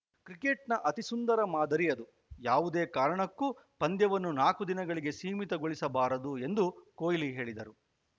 ಕ್ರಿಕೆಟ್‌ನ ಅತಿ ಸುಂದರ ಮಾದರಿ ಅದು ಯಾವುದೇ ಕಾರಣಕ್ಕೂ ಪಂದ್ಯವನ್ನು ನಾಲ್ಕು ದಿನಗಳಿಗೆ ಸೀಮಿತಗೊಳಿಸಬಾರದು ಎಂದು ಕೊಹ್ಲಿ ಹೇಳಿದರು